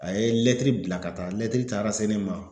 A ye lɛtiri bila ka taa lɛtiri taara se ne ma